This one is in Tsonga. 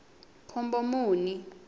khombomuni